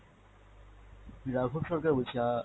রাঘব সরকার বলছি, অ্যাঁ